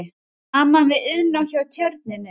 Saman við Iðnó hjá Tjörninni.